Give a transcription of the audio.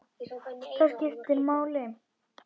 Það skiptir máli.